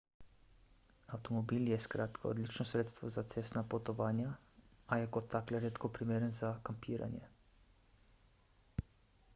avtomobil je skratka odlično sredstvo za cestna potovanja a je kot tak le redko primeren za kampiranje